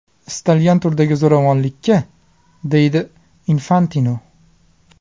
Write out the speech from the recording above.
Istalgan turdagi zo‘ravonlikka”, deydi Infantino.